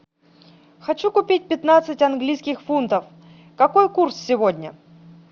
хочу купить пятнадцать английских фунтов какой курс сегодня